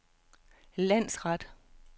landsret